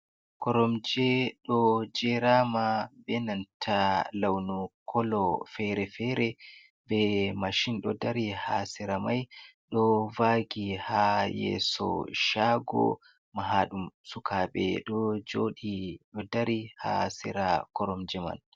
Koromje ɗo jerama benanta launu kolo fere-fere be mashin ɗo dari ha sera mai ɗo vagi ha yeso shago mahaɗum, suka be ɗo joɗi ɗo dari ha sira koromje man.